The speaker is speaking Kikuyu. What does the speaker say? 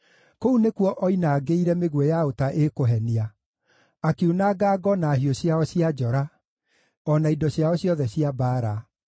Kũu nĩkuo oinangĩire mĩguĩ ya ũta ĩkũhenia, akiunanga ngo na hiũ ciao cia njora, o na indo ciao ciothe cia mbaara.